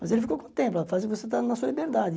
Mas ele ficou com o tempo, faz o que você está na sua liberdade.